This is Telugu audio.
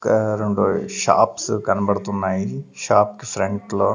ఒక రెండు షాప్స్ కనబడుతున్నాయి షాప్ కి ఫ్రంట్ లో.